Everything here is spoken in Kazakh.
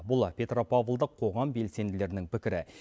бұл петропавлдық қоғам белсенділерінің пікірі